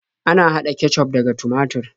Ana haɗa kecuf daga tumatur.